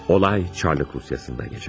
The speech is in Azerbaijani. Hadisə Çar Rusiyasında cərəyan edir.